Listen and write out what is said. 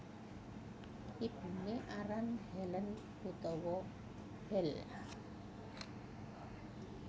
Ibuné aran Helen utawa Hel